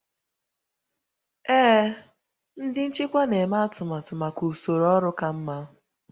Ee, ndị nchịkwa na-eme atụmatụ maka usoro ọrụ ka mma